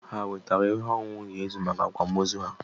Hà e wetara ihe ọṅụṅụ ga-ezu maka Akwam ozu ahu?